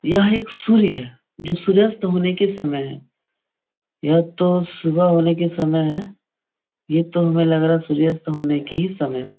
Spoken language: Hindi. यह एक सूर्य है जो सूर्यास्त होने के समय है। यह तो सुबह होने के समय है। यह तो हमे लग रहा है सूर्यास्त होने की ही समय है।